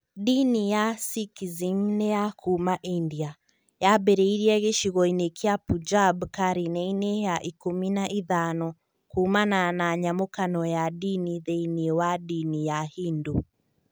Ndini ya Sikhism nĩ ya kuuma India. Yambĩrĩirie gĩcigo-inĩ kĩa Punjab karine-inĩ ya ikũmi na ithano [15] kuumana na nyamũkano ya ndini thĩinĩ wa ndini ya Hindu.